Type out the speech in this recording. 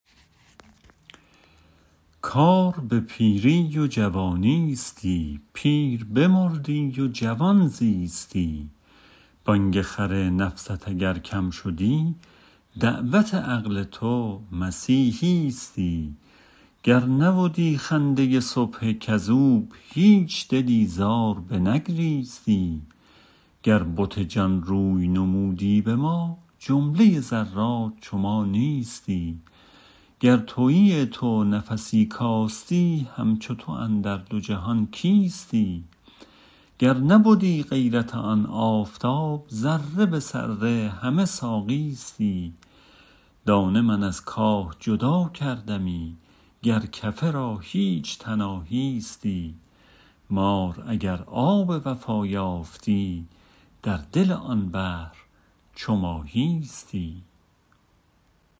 کار به پیری و جوانیستی پیر بمردی و جوان زیستی بانگ خر نفست اگر کم شدی دعوت عقل تو مسیحیستی گر نبدی خنده صبح کذوب هیچ دلی زار بنگریستی گر بت جان روی نمودی به ما جمله ذرات چو ما نیستی گر توی تو نفسی کاستی همچو تو اندر دو جهان کیستی گر نبدی غیرت آن آفتاب ذره به ذره همه ساقیستی دانه من از کاه جدا کردمی گر کفه را هیچ تناهیستی مار اگر آب وفا یافتی در دل آن بحر چو ماهیستی